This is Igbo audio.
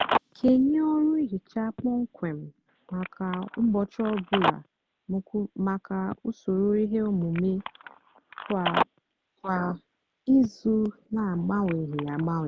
kenye ọrụ nhicha kpọmkwem mákà úbọchị ọ bụlà mákà usoro íhè ómumé kwá kwá ízú nà-agbanwéghí agbanwéghí.